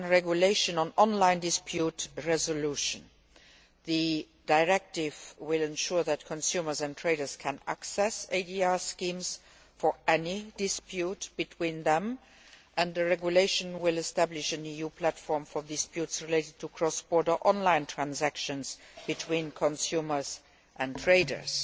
and one for a regulation on online dispute resolution. The directive will ensure that consumers and traders can access ADR schemes for any dispute between them, and the regulation will establish an EU platform for disputes related to cross border online transactions between consumers and traders.